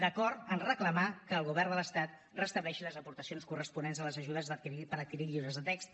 d’acord amb reclamar que el govern de l’estat restableixi les aportacions corresponents a les ajudes per adquirir llibres de text